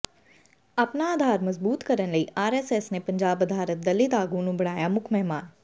ਆਪਣਾ ਆਧਾਰ ਮਜ਼ਬੂਤ ਕਰਨ ਲਈ ਆਰਐਸਐਸ ਨੇ ਪੰਜਾਬ ਆਧਾਰਤ ਦਲਿਤ ਆਗੂ ਨੂੰ ਬਣਾਇਆ ਮੁੱਖ ਮਹਿਮਾਨ